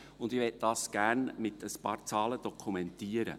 Ich möchte dies gerne mit ein paar Zahlen dokumentieren.